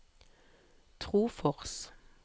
Trofors